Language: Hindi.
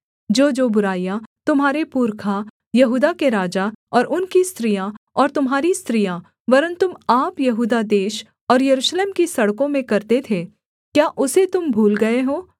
जोजो बुराइयाँ तुम्हारे पुरखा यहूदा के राजा और उनकी स्त्रियाँ और तुम्हारी स्त्रियाँ वरन् तुम आप यहूदा देश और यरूशलेम की सड़कों में करते थे क्या उसे तुम भूल गए हो